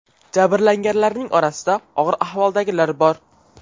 Jabrlanganlarning orasida og‘ir ahvoldagilar bor.